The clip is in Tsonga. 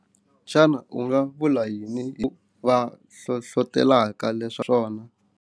Xana u nga vula yini hi va hlohlotelaka swona.